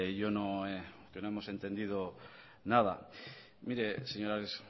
yo no que no hemos entendido nada mire señor ares